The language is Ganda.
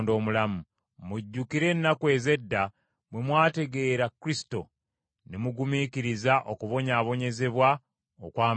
Mujjukire ennaku ez’edda bwe mwategeera Kristo, ne mugumiikiriza okubonyaabonyezebwa okw’amaanyi.